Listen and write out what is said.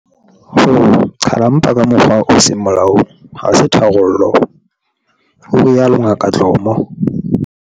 Ho qhala mpa ka mokgwa o seng molaong ha se tharollo, o rialo Ngaka Dlomo.